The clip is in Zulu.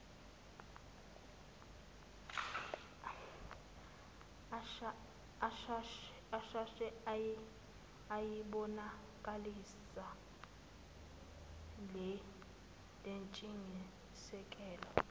ashesha ayibonakalisa lentshisekelo